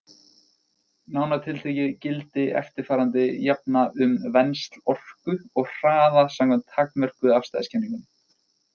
Nánar tiltekið gildi eftirfarandi jafna um vensl orku og hraða samkvæmt takmörkuðu afstæðiskenningunni: